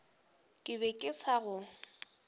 ke be ke sa go